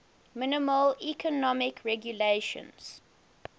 minimal economic regulations